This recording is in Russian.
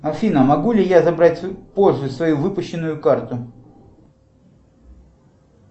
афина могу ли я забрать позже свою выпущенную карту